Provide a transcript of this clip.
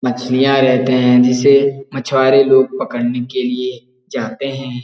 मछलियाँ रहते हैं जिसे मछुआरे लोग पकड़ने के लिए जाते हैं।